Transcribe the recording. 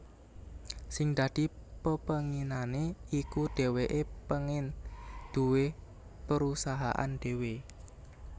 Sing dadi pepénginané iku dhèwèké pengin duwé perusahaan dhéwé